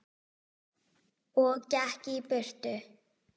Og gekk í burtu.